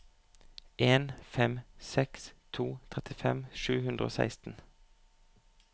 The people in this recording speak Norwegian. en fem seks to trettifem sju hundre og seksten